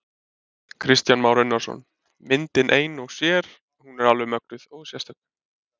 Kristján Már Unnarsson: Myndin ein og sér, hún er alveg mögnuð og sérstök?